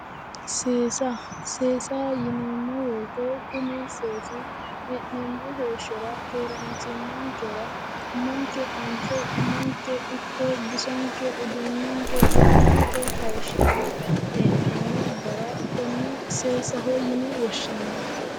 seesa seesa yineemmowoyite kuni seesi hee'neemmo heeshshora keeraanchimmankera umonke anfe umonke ikko bisonke yannante hayishshi'ne hee'neemmo gara konne seesaho yine woshshineemmo.